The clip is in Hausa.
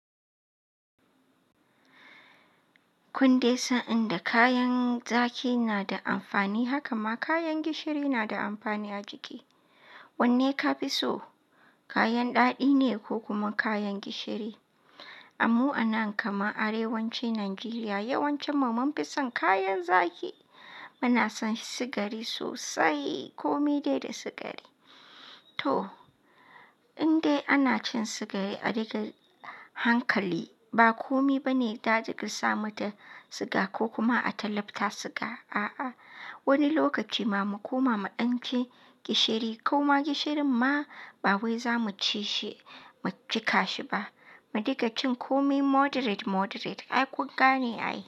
Kunde, san inda kayan zaki na da amfani, haka ma kayan gishiri na da amfani a jiki. Wanne ka fi so? Kayan ɗaɗi ne ko kuma kayan gishiri? Amma a nan kaman Arewacin Najeriya, yawancinmu mun fi son kayan zaki. Muna son sigari sosai, kome dai da sigari. To, in dai ana cin sigari a daga hankali, ba kome bane za diga sa mata siga ko kuma a ta lapta siga. A'a, wani lokaci ma mu koma mu ɗan ci gishiri, koma gishirin ma ba wai za muu cika shi ba. Mu daga cin kome moderate moderate, ai ƙun gane ai.